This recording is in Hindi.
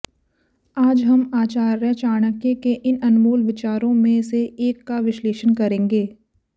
आज हम आचार्य चाणक्य के इन अनमोल विचारों में से एक का विश्लेषण करेंगे